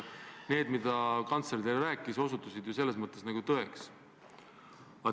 See, mida kantsler teile rääkis, osutus ju tõeks.